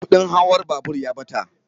Kudin hawan babur ya ɓata